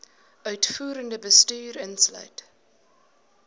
uitvoerende bestuur insluit